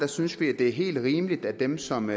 synes vi det er helt rimeligt at dem som